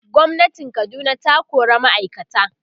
gwamnatin Kaduna ta kora ma'aikata